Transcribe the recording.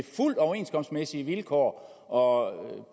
fuldt overenskomstmæssige vilkår og